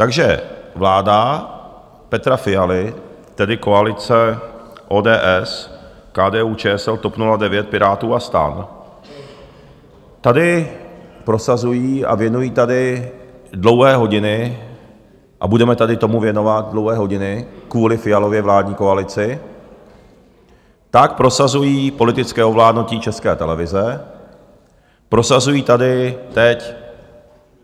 Takže vláda Petra Fialy, tedy koalice ODS, KDU-ČSL, TOP 09, Pirátů a STAN tady prosazují a věnují tady dlouhé hodiny, a budeme tady tomu věnovat dlouhé hodiny kvůli Fialově vládní koalici, tak prosazují politické ovládnutí České televize, prosazují tady teď